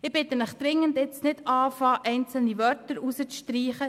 Ich bitte Sie dringend, nun nicht damit zu beginnen, einzelne Wörter herauszustreichen.